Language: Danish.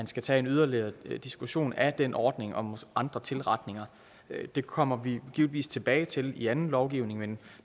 skal tage en yderligere diskussion af den ordning og andre tilretninger det kommer vi givetvis tilbage til i anden lovgivning men